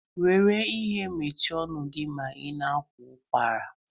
Were ihe mechie ọnụ gi ma i na-akwa ụkwara.